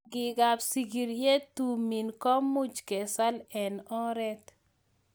rangikab sigiryet tumin komuch kesal eng oret